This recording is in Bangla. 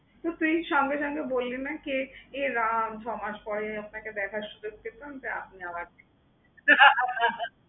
তো তুই সঙ্গে সঙ্গে বললি না কি, এ রাম ছ মাস পরে আপনাকে দেখার সুযোগ পেলাম তো আপনি আবার হা হা হা হা।